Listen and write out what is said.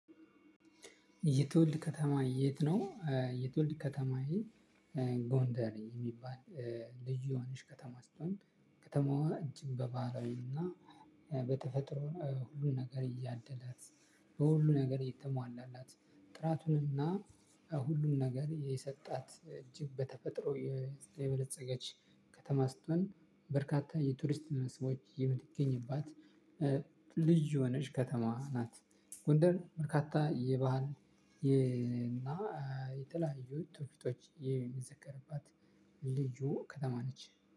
የትውልድ ከተማ የት ነው? የትውልድ ከተማዬ ጎንደር የሚባል ልዩ የሆነች ከተማ ስትሆን ከተማዋ እጅግ በባህላዊና በተፈጥሮ ሁሉ ነገር ያደላት። በሁሉ ነገር የተሟላላት ጥራቱንና ሁሉን ነገር የሰጣት እጅግ በተፈጥሮ የበለፀገች ከተማ ስትሆን በርካታ የቱሪስት መስህቦች የምትገኝባት። ልዩ የሆነች ከተማ ናት። ጎንደር በካታ የባህል እና የተለያዩ ትውፊቶች የሚዘከርባት ልዩ ከተማ ነች።